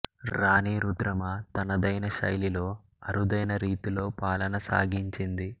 రాణీ రుద్రమ తనదైన శైలిలో అరుదైన రీతిలో పాలన సాగించింది